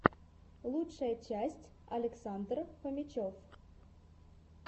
лучшая часть александр фомичев